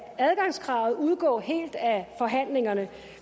adgangskravet udgå helt af forhandlingerne